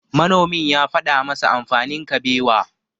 Manomin ya faɗa masa amfanin Kabewa.